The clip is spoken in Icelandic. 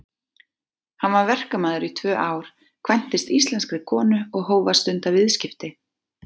Hann var verkamaður í tvö ár, kvæntist íslenskri konu og hóf að stunda viðskipti.